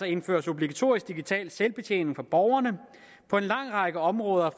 indføres obligatorisk digital selvbetjening for borgerne på en lang række områder